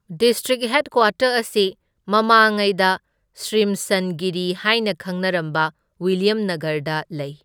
District headquarters ꯑꯁꯤ ꯃꯃꯥꯉꯩꯗ ꯁ꯭ꯔꯤꯝꯁꯟꯒꯤꯔꯤ ꯍꯥꯏꯅ ꯈꯪꯅꯔꯝꯕ ꯋꯤꯜꯂ꯭ꯌꯝꯅꯥꯒꯔꯗ ꯂꯩ꯫